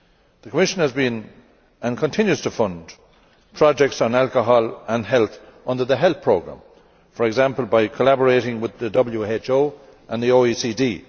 The Commission has been funding and continues to fund projects on alcohol and health under the health programme, for example by collaborating with the WHO and the OECD.